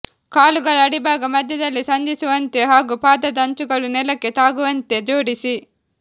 ಕಾಲುಗಳ ಅಡಿಭಾಗ ಮಧ್ಯದಲ್ಲಿ ಸಂಧಿಸುವಂತೆ ಹಾಗೂ ಪಾದದ ಅಂಚುಗಳು ನೆಲಕ್ಕೆ ತಾಗುವಂತೆ ಜೋಡಿಸಿ